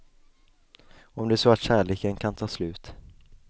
Om det är så att kärleken kan ta slut.